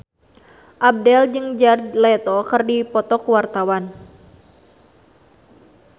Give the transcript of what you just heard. Abdel jeung Jared Leto keur dipoto ku wartawan